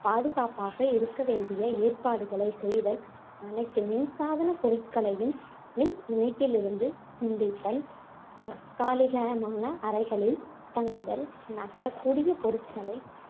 பாதுகாப்பாக இருக்க வேண்டிய ஏற்பாடுகளைச் செய்தல், அனைத்து மின் சாதன பொருட்களையும் மின் இணைப்பிலிருந்து துண்டித்தல், தற்காலிகமான அறைகளில் தங்குதல், நகரக் கூடிய பொருட்களை